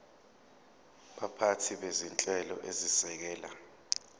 baphathi bezinhlelo ezisekela